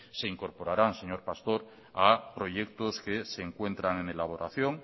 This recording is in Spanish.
se incorporarán señor pastor a proyectos que se encuentran en elaboración